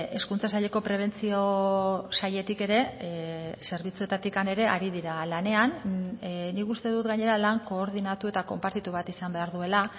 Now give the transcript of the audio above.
hezkuntza saileko prebentzio sailetik ere zerbitzuetatik ere ari dira lanean nik uste dut gainera lan koordinatu eta konpartitu bat izan behar duela